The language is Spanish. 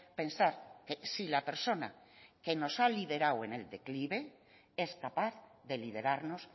pensar que si la persona que nos ha liderado en el declive es capaz de liderarnos